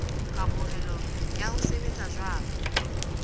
kamohelo ya ho sebetsa jwalo